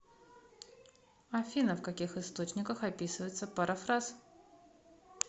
афина в каких источниках описывается парафраз